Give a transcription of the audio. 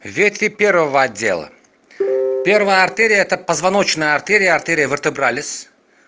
ветви первого отдела первая артерия это позвоночная артерия артерия вертебрализ